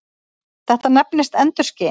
Þetta nefnist endurskin.